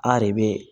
A de bɛ